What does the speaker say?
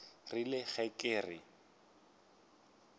rile ge ke re ke